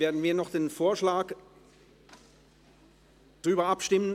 Nun werden wir noch über den Vorschlag abstimmen.